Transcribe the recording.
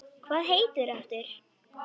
Hvað heitir þú aftur?